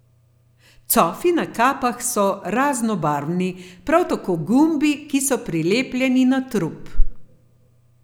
Cofi na kapah so raznobarvni, prav tako gumbi, ki so prilepljeni na trup.